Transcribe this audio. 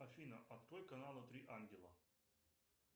афина открой каналы три ангела